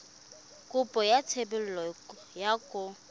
kopo ya thebolo ya poo